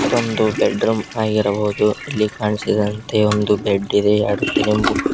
ಮತ್ತೊಂದು ಬೆಡ್ರೂಮ್ ಆಗಿರಬಹುದು ಇಲ್ಲಿ ಕಾಣಿಸಿದಂತೆ ಒಂದು ಬೆಡ್ಡಿದೆ ಎರಡು ತಲೆ ದಿಂಬು--